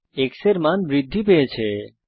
এখানে x এর মান বৃদ্ধি পেয়েছে